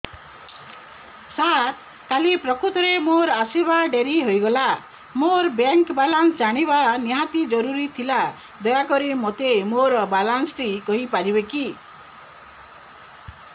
ସାର କାଲି ପ୍ରକୃତରେ ମୋର ଆସିବା ଡେରି ହେଇଗଲା ମୋର ବ୍ୟାଙ୍କ ବାଲାନ୍ସ ଜାଣିବା ନିହାତି ଜରୁରୀ ଥିଲା ଦୟାକରି ମୋତେ ମୋର ବାଲାନ୍ସ ଟି କହିପାରିବେକି